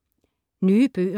Nye bøger